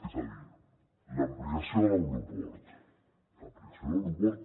és a dir l’ampliació de l’aeroport l’ampliació de l’aeroport